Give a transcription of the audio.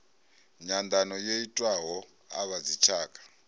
nyanḓano yo itiwaho a vhadzitshaka